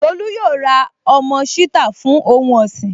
Tolú yóò ra ọmọ ṣítà fún ohun ọ̀sìn